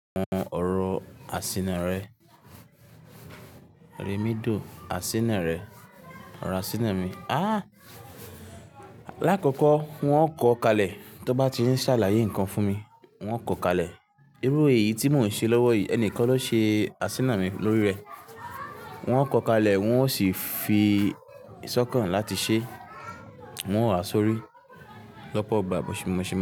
Mo hun oro asina rẹ, remido asina rẹ, ra asina mi. Ah! Lákòkò wọn kò kalẹ̀ tó bá ti ń ṣàlàyé ǹkan fún mi, wọn kò kalẹ̀. Irú èyí tí mo ń ṣe lọ́wọ́ yì, ẹnìkan ló ṣe asina mi lórí rẹ̀. Wọn ò kò kalẹ̀ wọn ò sì fi sọ̀kan láti ṣe, wọn ò ha sórí lọ́pọ̀ ìgbà bí Moshe ma.